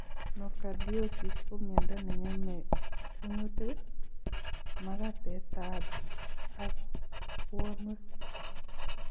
Nocardiosis ko miondo neng'emei kunyutik, magatetab ak buonwek.